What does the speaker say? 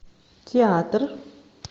театр